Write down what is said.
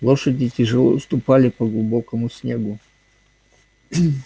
лошади тяжело ступали по глубокому снегу